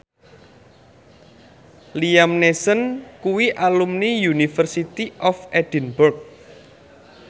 Liam Neeson kuwi alumni University of Edinburgh